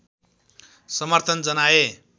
समर्थन जनाए